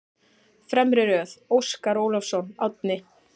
Fremri röð: Óskar Ólafsson, Árni